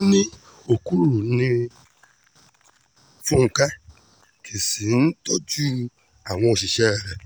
wọ́n ní òkúròrò ní fúnkẹ́ kì í sì í tọ́jú àwọn òṣìṣẹ́ rẹ̀